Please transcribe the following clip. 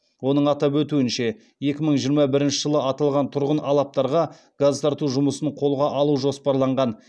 оның атап өтуінше екі мың жиырма бірінші жылы аталған тұрғын алаптарға газ тарту жұмысын қолға алу жоспарланған